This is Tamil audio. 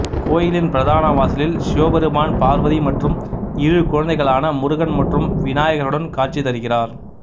கோயிலின் பிரதான வாசலில் சிவபெருமான் பார்வதி மற்றும் இரு குழந்தைகளான முருகன் மற்றும் விநாயகருடன் காட்சிதருகிறார்